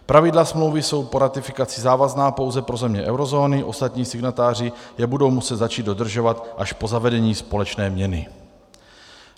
Pravidla smlouvy jsou po ratifikaci závazná pouze pro země eurozóny, ostatní signatáři je budou muset začít dodržovat až po zavedení společné měny.